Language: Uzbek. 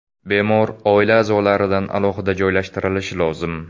Bemor oila a’zolaridan alohida joylashtirilishi lozim.